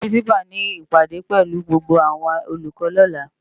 Pirinsipá ni ipádé pèlú gbógbó áwòn ólúkò lòlá